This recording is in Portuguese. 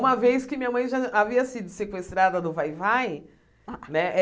Uma vez que minha mãe já havia sido sequestrada no vai-vai, né?